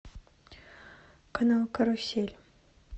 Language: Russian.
канал карусель